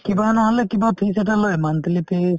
কিবা নহ'লে কিবা fess এটা লয়ে monthly fees